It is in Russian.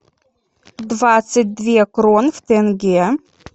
двадцать две крон в тенге